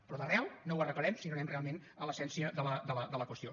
però d’arrel no ho arreglarem si no anem realment a l’essència de la qüestió